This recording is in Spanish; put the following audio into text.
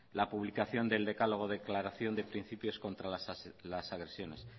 la publicación del decálogo declaración de principios contra las agresiones